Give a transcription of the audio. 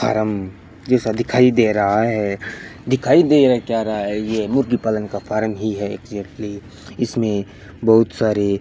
form जैसा दिखाई दे रहा है दिखाई दे क्या रहा है ये मुर्गी पालन का फॉर्म ही है ये एक्जेक्टली इसमें बहुत सारे --